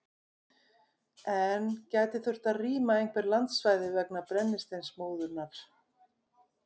En gæti þurft að rýma einhver landsvæði vegna brennisteinsmóðunnar?